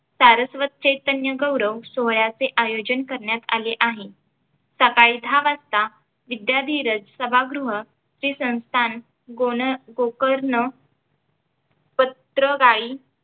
सारस्वत चैतन्य गौरव सोहळ्याचे आयोजन करण्यात आले आहे सकाळी दहा वाजता विद्याधिराज सभागृह चे संस्थान गोण गोकर्ण पत्रगायी